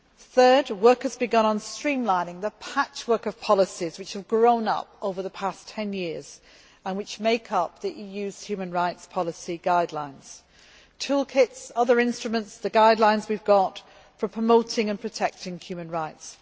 Third, work has begun on streamlining the patchwork of policies which have grown up over the past ten years and which make up the EU's human rights policy guidelines toolkits, other instruments, the guidelines we have got for promoting and protecting human rights.